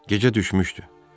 Gecə düşmüşdü.